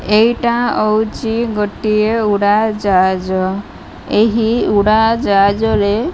ଏଇଟା ହୋଉଚି ଗୋଟେ ଉଡ଼ାଜାହାଜ ଏହି ଉଡ଼ାଜାହାଜରେ --